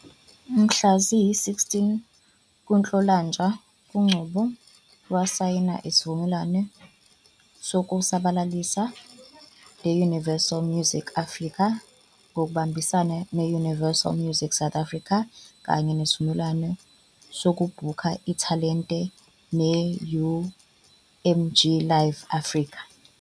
Mhla ziyi-16 kuNhlolanja, uNgcobo wasayina isivumelwano sokusabalalisa ne-Universal Music Africa ngokubambisana ne-Universal Music South Africa kanye nesivumelwano sokubhukha ithalente ne-UMG Live Africa.